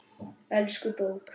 Elsku bók!